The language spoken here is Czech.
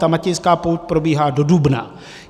Ta Matějská pouť probíhá do dubna.